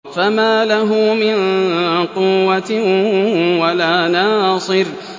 فَمَا لَهُ مِن قُوَّةٍ وَلَا نَاصِرٍ